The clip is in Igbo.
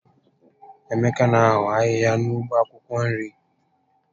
Emeka n'eho ahịhịa na ụgbọ akwụkwọ nri